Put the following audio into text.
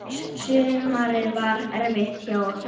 Sumarið var erfitt hjá okkur.